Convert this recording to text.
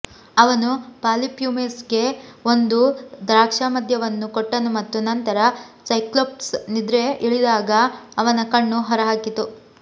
ಅವನು ಪಾಲಿಫ್ಯೂಮಸ್ಗೆ ಒಂದು ದ್ರಾಕ್ಷಾಮದ್ಯವನ್ನು ಕೊಟ್ಟನು ಮತ್ತು ನಂತರ ಸೈಕ್ಲೋಪ್ಸ್ ನಿದ್ರೆಗೆ ಇಳಿದಾಗ ಅವನ ಕಣ್ಣು ಹೊರಹಾಕಿತು